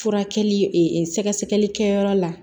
Furakɛli ee sɛgɛsɛgɛlikɛyɔrɔ la